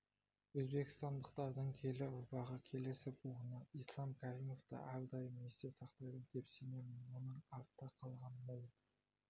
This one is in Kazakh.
өзбекстандықтардың келер ұрпағы келесі буыны ислам каримовты әрдайым есте сақтайды деп сенемін оның артта қалған мол